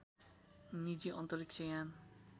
निजी अन्तरिक्ष यान